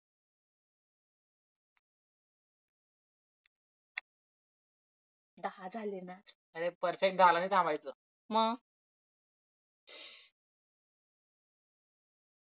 दहा झाले ना perfect दहाला नाही थांबायचं मग